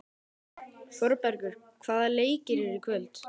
Þórbergur, hvaða leikir eru í kvöld?